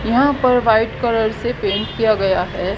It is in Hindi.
यहाँ पर व्हाइट कलर से पेंट किया गया है।